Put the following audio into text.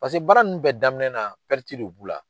Pase baara ninnu bɛɛ daminɛ naa de b'u la.